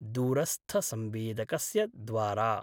दूरस्थसंवेदकस्य द्वारा।